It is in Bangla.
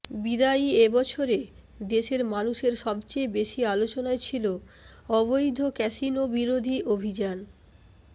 বিদায়ী এ বছরে দেশের মানুষের সবচেয়ে বেশি আলোচনায় ছিল অবৈধ ক্যাসিনোবিরোধী অভিযান